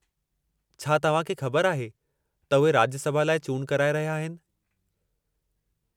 छा तव्हां खे ख़बर आहे त उहे राज्यसभा लाइ चूंड कराइ रहिया आहिनि?